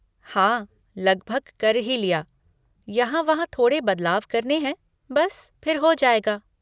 हाँ, लगभग कर ही लिया, यहाँ वहाँ थोड़े बदलाव करने हैं बस फिर हो जाएगा।